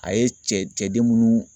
A ye cɛ cɛ den munnu